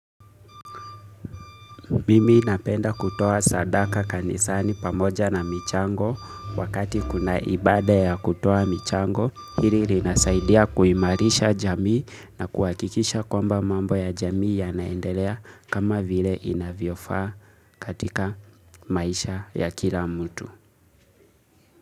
Mimi napenda kutoa sadaka kanisani pamoja na michango wakati kuna ibada ya kutoa michango. Hili ni nasaidia kui marisha jamii na kuhakikisha kwamba mambo ya jamii ya naendelea kama vile ina vyofaa katika maisha ya kila mutu.